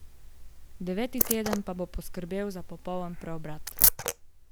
Deveti teden pa bo poskrbel za popoln preobrat!